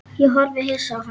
Ég horfði hissa á hann.